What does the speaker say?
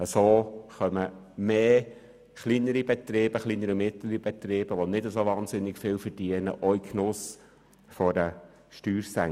So kommen mehr kleinere und mittlere Betriebe, die auch nicht dermassen viel verdienen, in den Genuss einer Steuersenkung.